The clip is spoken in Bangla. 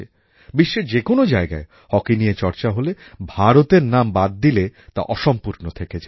বিশ্বের যে কোনও জায়গায় হকি নিয়ে চর্চা হলে ভারতের নাম বাদ দিলে তা অসম্পূর্ণ থেকে যায়